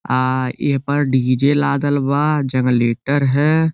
आ एहपर डी.जे. लादल बा। जंगलेटर है।